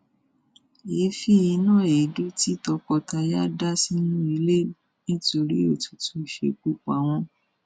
èéfì iná èédú tí tọkọtaya dà sínú ilé nítorí òtútù ṣekú pa wọn